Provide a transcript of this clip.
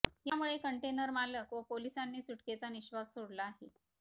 यामुळे कंटेनर मालक व पोलिसांनी सुटकेचा निश्वास सोडला आहे